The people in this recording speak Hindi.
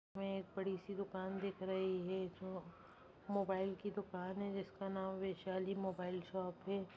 मे एक बड़ी सी दुकान दिख रही है जो मोबाइल की दुकान है जिसका नाम वैशाली मोबाइल शॉप है।